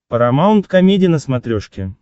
парамаунт комеди на смотрешке